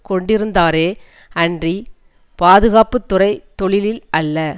கொண்டிருந்தாரே அன்றி பாதுகாப்பு துறை தொழிலில் அல்ல